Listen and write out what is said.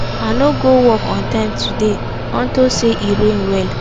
i no go work on time today unto say e rain well